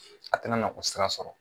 A tɛna nakɔ sira sɔrɔ